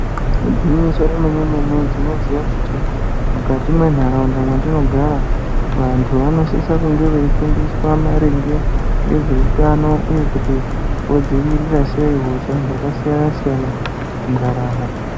Igwinyiso remene-mene, tinoziya kuti , mukati mwentaraunda mwatinogara, vantu vanosise kuva veifundiswa maringe, ngezveutano uye vodzivirira sei hosha dzakasiyana-siyana muntaraunda.